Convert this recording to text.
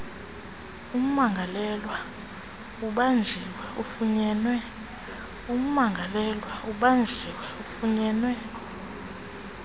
ummangalelwa ubanjiwe ufunyenwe